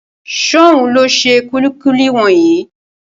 Ṣóhun ló ṣe kúlíkúlí wọ̀nyí?